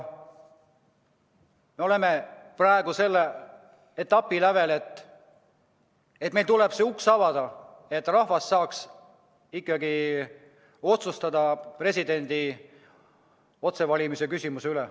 Me oleme praegu selle etapi lävel, et meil tuleb avada see uks, et rahvas saaks ikkagi otsustada presidendi otsevalimise küsimuse üle.